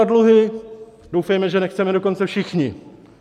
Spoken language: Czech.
A dluhy, doufejme, že nechceme dokonce všichni.